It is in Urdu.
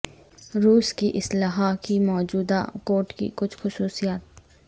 روس کی اسلحے کی موجودہ کوٹ کی کچھ خصوصیات